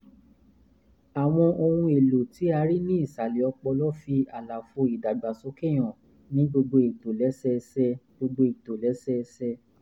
àwọn ohun-èlò tí a rí ní ìsàlẹ̀ ọpọlọ fi àlàfo ìdàgbàsókè hàn ní gbogbo ìtòlẹ́sẹẹsẹ gbogbo ìtòlẹ́sẹẹsẹ